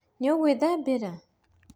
Nĩũĩ ngũthambĩra?